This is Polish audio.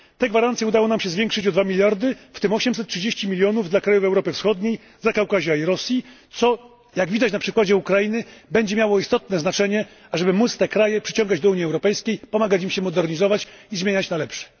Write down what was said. Te gwarancje udało nam się zwiększyć o 2 mld, w tym 833 mln dla krajów Europy Wschodniej, Zakaukazia i Rosji, co, jak widać na przykładzie Ukrainy, będzie miało istotne znaczenie, ażeby móc te kraje przyciągać do Unii Europejskiej, pomagać im się modernizować i zmieniać na lepsze.